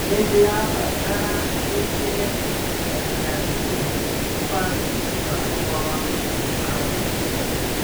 Nĩndĩrabatara wĩkĩre gũceria ngui mũbango-inĩ wakwa wa maũndũ ma gwĩka .